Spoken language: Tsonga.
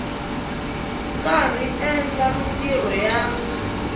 karhi a endla mintirho ya